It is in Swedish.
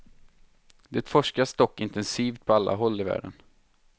Det forskas dock intensivt på alla håll i världen.